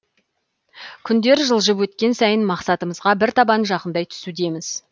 күндер жылжып өткен сайын мақсатымызға бір табан жақындай түсудеміз